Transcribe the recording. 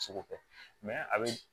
Seko kɛ a bɛ